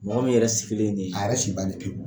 Mɔgɔ min yɛrɛ sigilen ye nin ye. A yɛrɛ si bannen pewu.